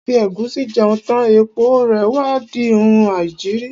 A fi ẹ̀gúsí jẹun tán, èpo rè wá di oun aìjiri.